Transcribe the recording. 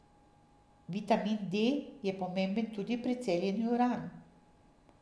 Vitamin D je pomemben tudi pri celjenju ran.